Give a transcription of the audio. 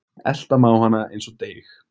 Elta má hana eins og deig